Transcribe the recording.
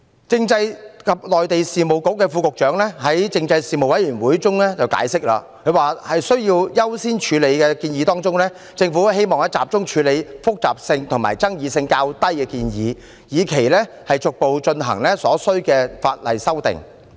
政制及內地事務局副局長在政制事務委員會解釋，在優先處理的建議中，政府希望集中處理複雜性和爭議性較低的建議，以期逐步進行所需的法例修訂。